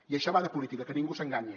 i això va de política que ningú s’enganyi